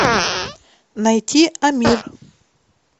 найти амир